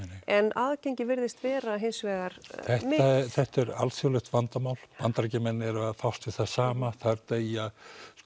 en aðgengi virðist vera hins vegar mikið þetta er alþjóðlegt vandamál Bandaríkjamenn eru að fást við það sama þar deyja